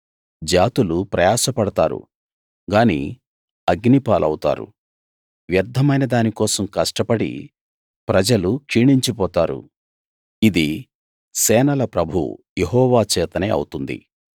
జాతులు ప్రయాసపడతారు గాని అగ్ని పాలవుతారు వ్యర్థమైన దాని కోసం కష్టపడి ప్రజలు క్షీణించిపోతారు ఇది సేనల ప్రభువు యెహోవా చేతనే అవుతుంది